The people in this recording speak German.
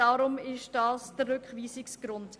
Deshalb ist dies der Rückweisungsgrund.